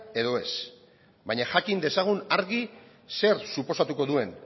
edo ez baina jakin dezagun argi zer suposatuko duen